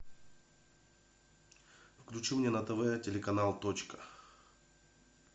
включи мне на тв телеканал точка